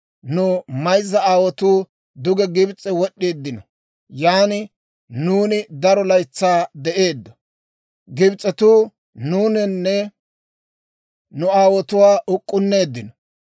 Nu mayzza aawotuu duge Gibs'e wod'd'eeddino; yan nuuni daro laytsaa de'eeddo. Gibs'etuu nuunanne nu aawotuwaa uk'k'inneeddino.